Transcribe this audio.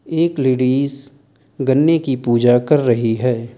एक लेडिज गन्ने की पूजा कर रही है।